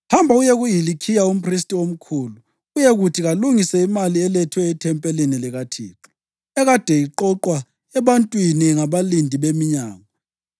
“Hamba uye kuHilikhiya umphristi omkhulu uyekuthi kalungise imali elethwe ethempelini likaThixo, ekade iqoqwa ebantwini ngabalindi beminyango.